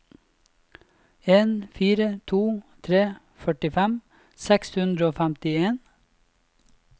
en fire to tre førtifem seks hundre og femtien